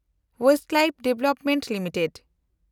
Westlife development limited